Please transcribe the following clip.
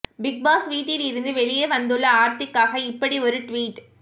big Boss வீட்டில் இருந்து வெளியே வந்துள்ள ஆர்த்திக்காக இப்படி ஒரு ட்வீட்